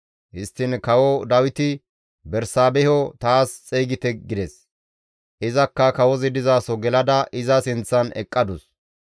Histtiin Kawo Dawiti, «Bersaabeho taas xeygite» gides; izakka kawozi dizaso gelada iza sinththan eqqadus.